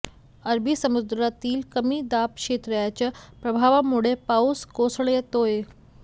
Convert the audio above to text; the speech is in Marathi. अरबी समुद्रातील कमी दाब क्षेत्राच्या प्रभावामुळे पाऊस कोसळतोय